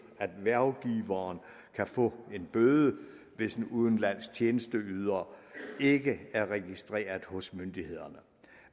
at hvervgiveren kan få en bøde hvis en udenlandsk tjenesteyder ikke er registreret hos myndighederne